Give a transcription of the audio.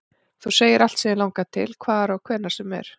Þú segir allt sem þig langar til, hvar og hvenær sem er